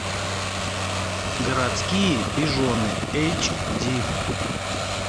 городские пижоны эйч ди